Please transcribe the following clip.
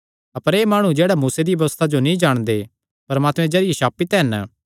अपर एह़ माणु जेह्ड़े मूसा दिया व्यबस्था जो नीं जाणदे परमात्मे दे जरिये श्रापित हन